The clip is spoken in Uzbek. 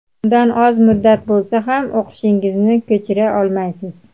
undan oz muddat bo‘lsa ham o‘qishingizni ko‘chira olmaysiz.